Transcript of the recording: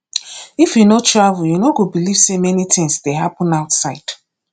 if you no travel you no go believe say many things dey happen outside